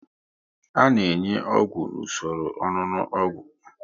A na enye ọgwụ n'usoro ọṅụnụ ogwu